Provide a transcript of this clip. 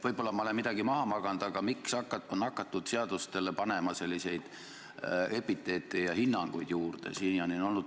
Võib-olla ma olen midagi maha maganud, aga miks on hakatud seaduste pealkirjadesse panema selliseid hinnanguid juurde?